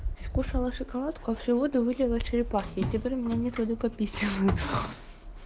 скушала шоколадку а всю воду вылила черепахе и теперь у меня нет воды попить